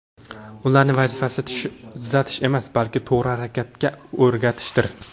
Ularni vazifasi tuzatish emas, balki to‘g‘ri harakatga o‘rgatishdir.